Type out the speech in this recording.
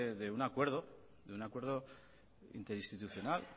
de un acuerdo interinstitucional